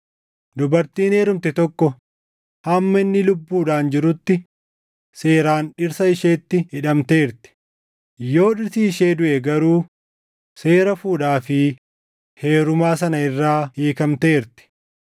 Dubartiin heerumte tokko hamma inni lubbuudhaan jirutti seeraan dhirsa isheetti hidhamteerti; yoo dhirsi ishee duʼe garuu seera fuudhaa fi heerumaa sana irraa hiikamteerti.